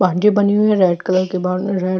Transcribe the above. boundary बनी हुई हैं रेड कलर की बॉउन्ड्री रेड --